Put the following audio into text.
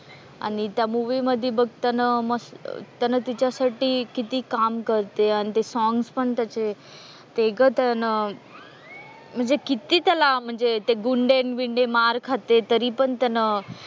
आणि त्या मूवी मध्ये बघ त्याने त्याने तिच्यासाठी किती काम करते आणि ते सॉंग्स पण त्याचे ते म्हणजे किती त्याला म्हणजे ते गुंडे न बिंडे मार खाते तरी पण त्याने,